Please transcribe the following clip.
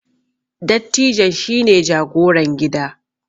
dattijon shi ne jagoran gida